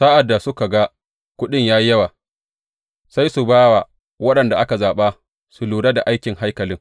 Sa’ad da suka ga kuɗin ya yi yawa, sai su ba wa waɗanda aka zaɓa su lura da aikin haikalin.